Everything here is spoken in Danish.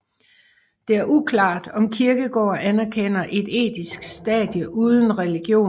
Det er uklart om Kierkegaard anerkender et etisk stadie uden religion